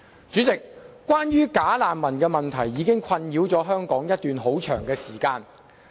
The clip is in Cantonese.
主席，"假難民"問題已困擾香港一段很長時間。